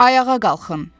Ayağa qalxın!